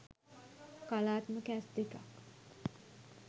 කලාත්මක ඇස් දෙකක්